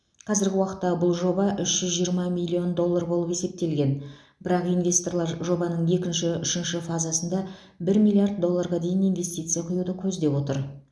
қазіргі уақытта бұл жоба үш жүз жиырма миллион доллар болып есептелген бірақ инвесторлар жобаның екінші үшінші фазасында бір миллиард долларға дейін инвестиция құюды көздеп отыр